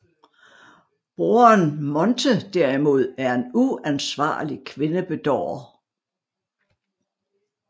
Broren Monte derimod er en uansvarlig kvindebedårer